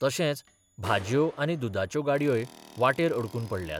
तशेंच भाजयो आनी दुदाच्यो गाडयोय वाटेर अडकून पडल्यात.